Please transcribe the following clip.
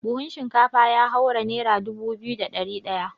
Buhun shinkafa ya haura nera dubu biyu da ɗari ɗaya.